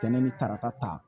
Kɛnɛ ni tarata ta